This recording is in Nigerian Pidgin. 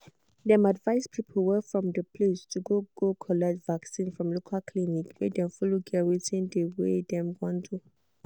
dem advice people wey from de place to go go collect vaccin from local clinic make dem follow get wetin de wey dem want do.